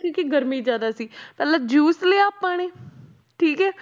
ਕਿਉਂਕਿ ਗਰਮੀ ਜ਼ਿਆਦਾ ਸੀ ਪਹਿਲਾਂ juice ਲਿਆ ਆਪਾਂ ਨੇ ਠੀਕ ਹੈ